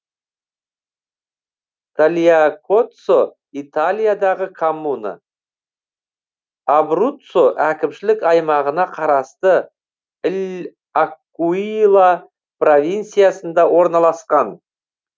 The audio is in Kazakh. тальякоццо италиядағы коммуна абруццо әкімшілік аймағына қарасты л акуила провинциясында орналасқан